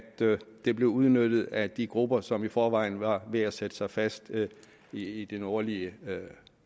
det blev udnyttet af de grupper som i forvejen var ved at sætte sig fast i i det nordlige